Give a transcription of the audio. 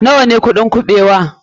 Nawa ne kuɗin kuɓewa?